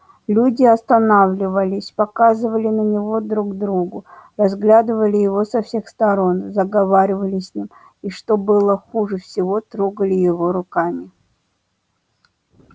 люди останавливались показывали на него друг другу разглядывали его со всех сторон заговаривали с ним и что было хуже всего трогали его руками